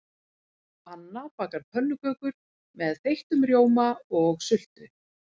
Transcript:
Hanna bakar pönnukökur með þeyttum rjóma og sultu.